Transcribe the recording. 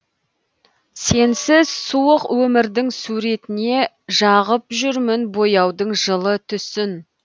сенсіз суық өмірдің суретіне жағып жүрмін бояудың жылы түсін